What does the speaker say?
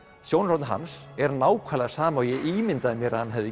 sjónarhornið hans er nákvæmlega sama og ég ímyndaði mér að hann hefði